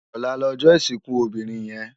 Òlá lòjò isinkú óbirin yèn